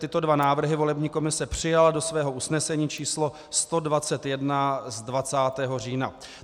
Tyto dva návrhy volební komise přijala do svého usnesení číslo 121 z 20. října.